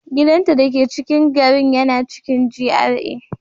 Gidanta dake cikin garin yana cikin GRA